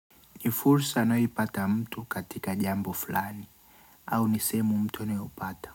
Ni fursa anayoipata mtu katika jambo fulani, au ni sehemu mtu anayopata.